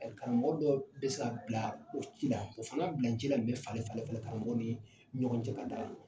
Karamɔgɔ dɔ bɛ ka bila o ci la o fana bila cila bɛ falen-falen karamɔgɔw ni ɲɔgɔn cɛ ka taa